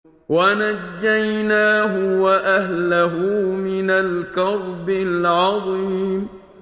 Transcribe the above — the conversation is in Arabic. وَنَجَّيْنَاهُ وَأَهْلَهُ مِنَ الْكَرْبِ الْعَظِيمِ